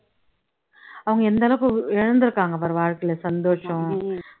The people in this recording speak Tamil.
அவங்க எந்த அளவுக்கு இழந்துருக்காங்க பாரு வாழ்க்கையில சந்தோஷம்